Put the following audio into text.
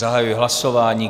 Zahajuji hlasování.